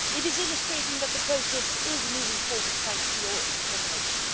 It is illustrating that the process is moving forward thanks to Members' determination.